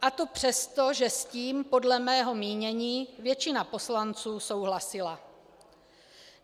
A to přesto, že s tím podle mého mínění většina poslanců souhlasila.